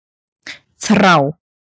Þrá